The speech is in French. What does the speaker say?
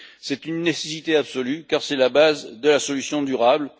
C'est une nécessité absolue, car c'est la base de la solution durable.